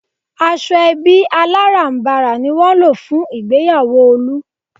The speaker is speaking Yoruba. Aṣọ ẹbí alárànbarà ni wọ́n lò fún ìgbéyàwó Olú